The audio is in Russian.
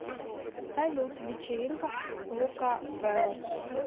салют вечеринка лукаверос